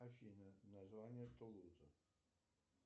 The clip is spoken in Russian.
афина название тулуза